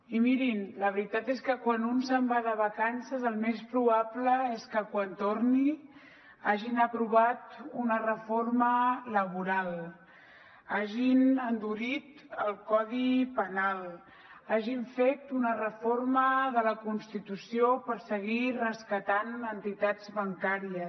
i mirin la veritat és que quan un se’n va de vacances el més probable és que quan torni hagin aprovat una reforma laboral hagin endurit el codi penal hagin fet una reforma de la constitució per seguir rescatant entitats bancàries